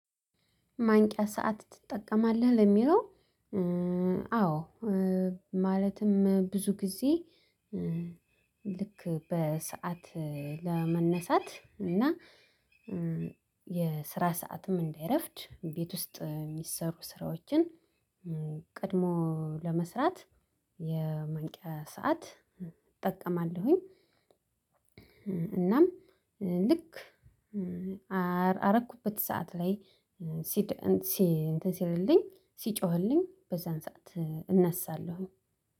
ማንቂያ ሰዓት ትጠቀማለህ ለሚለው? አዎ ማለትም ብዙ ጊዜ ልክ በሰአት ለመነሳት እና የስራ ሰዓትም እንዳይረፍድ ቤት ውስጥ የሚሰሩ ስራዎችን ቀድሞ ለመስራት የማንቂያ ሰዓት እጠቀማለሁኝ። እናም ልክ አረኩበት ሰዓት ላይ ሲድ ሲ እንትን ሲልልኝ ሲጮህልኝ በዛን ሰዓት እነሳለሁ